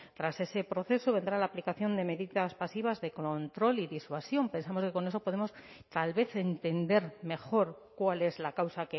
tras ese proceso vendrá la aplicación de medidas pasivas de control y disuasión pensamos que con eso podemos tal vez entender mejor cuál es la causa